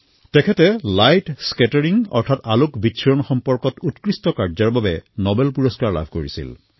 তেওঁক light scattering অৰ্থাৎ প্ৰকীৰ্ণনৰ উৎকৃষ্ট কাৰ্যৰ বাবে নোবেল বঁটা প্ৰদান কৰা হৈছিল